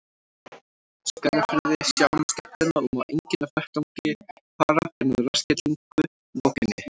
Skagafirði, sjá um skellina, og má enginn af vettvangi fara fyrr en að rassskellingu lokinni.